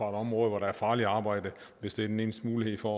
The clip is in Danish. område hvor der er farligt arbejde hvis det er den eneste mulighed for